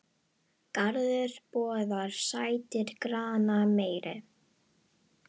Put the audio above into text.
Garður boðar sættir granna meiri.